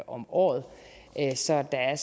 om året så der er